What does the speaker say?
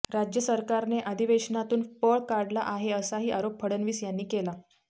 राज्य सरकारने अधिवेशनातून पळ काढला आहे असाही आरोप फडणवीस यांनी केला